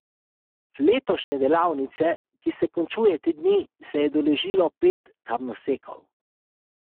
Letošnje delavnice, ki se končuje te dni, se je udeležilo pet kamnosekov.